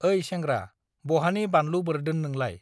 ओइ सेंग्रा बहानि बानलु बोर्दोन नोंलाय